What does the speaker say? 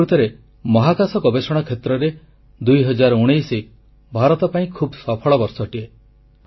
ପ୍ରକୃତରେ ମହାକାଶ ଗବେଷଣା କ୍ଷେତ୍ରରେ 2019 ଭାରତ ପାଇଁ ଖୁବ୍ ସଫଳ ବର୍ଷଟିଏ